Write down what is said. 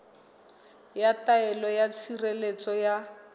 ya taelo ya tshireletso ya